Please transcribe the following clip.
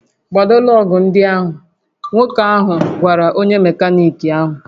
"Kpado lọọgụ̀ ndị ahụ! "Nwoke ahụ gwara onye mekaniki ahụ"